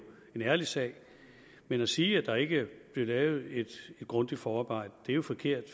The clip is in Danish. en ærlig sag men at sige at der ikke er blevet lavet et grundigt forarbejde er forkert